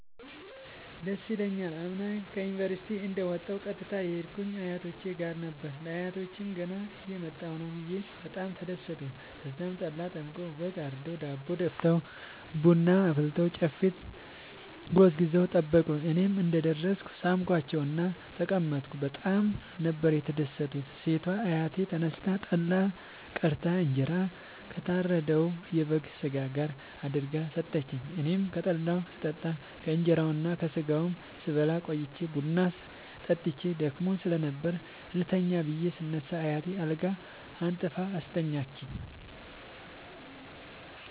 ደስ ይለኛል። አምና ዩኒቨርሢቲ እንደ ወጣሁ ቀጥታ የሄድኩት አያቶቼ ጋር ነበር። ለአያቶቸ ገና እየመጣሁ ነዉ ብየ በጣም ተደሠቱ። ተዛም ጠላ ጠምቀዉ በግ አርደዉ ዳቦ ደፍተዉ ቡና አፍልተዉ ጨፌ ጎዝጉዘዉ ጠበቁኝ። እኔም እንደ ደረስኩ ሣምኳቸዉእና ተቀመጥኩ በጣም ነበር የተደትኩት ሴቷ አያቴ ተነስታ ጠላ ቀድታ እንጀራ ከታረደዉ የበግ ስጋ ጋር አድርጋ ሠጠችኝ። አኔም ከጠላዉም ስጠጣ ከእንራዉና ከስጋዉም ስበላ ቆይቼ ቡና ጠጥቼ ደክሞኝ ስለነበር ልተኛ ብየ ስነሳ አያቴ አልጋ አንጥፋ አስተኛችኝ።